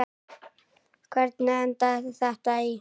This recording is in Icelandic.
Hvernig endaði þetta í glompu?